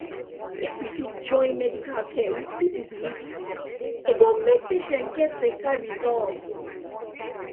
if we fit join medical care with people belief system e go make patient get better result